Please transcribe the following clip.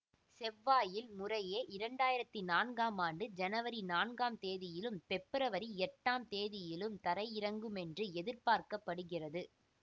செவ்வாயில் முறையே இரண்டயிரத்தி நான்காம் ஆண்டு ஜனவரி நான்காம் தேதியிலும் பெப்ரவரி எட்டாம் தேதியிலும் தரையிறங்குமென்று எதிர்பார்க்க படுகிறது